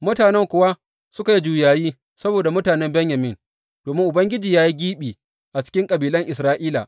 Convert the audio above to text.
Mutanen kuwa suka yi juyayi saboda mutanen Benyamin, domin Ubangiji ya yi gibi a cikin kabilan Isra’ila.